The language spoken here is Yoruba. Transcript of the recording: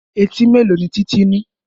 Etí mélòó ni Títí ní?